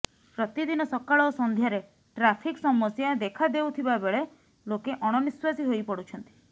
ପ୍ରତିଦିନ ସକାଳ ଓ ସନ୍ଧ୍ୟାରେ ଟ୍ରାଫିକ୍ ସମସ୍ୟା ଦେଖା ଦେଉଥିବାବେଳେ ଲୋକେ ଅଣନିଃଶ୍ୱାସୀ ହୋଇ ପଡୁଛନ୍ତି